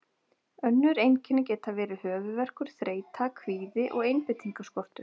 Önnur einkenni geta verið höfuðverkur, þreyta, kvíði og einbeitingarskortur.